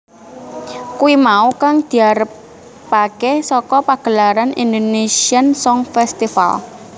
Kuwi mau kang diarepaké saka pagelaran Indonésian Song Festival